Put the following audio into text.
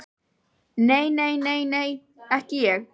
Nei, nei, nei, nei, ekki ég.